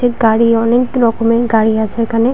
একটি গাড়ি অনেক রকমের গাড়ি আছে এখানে --